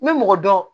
N bɛ mɔgɔ dɔn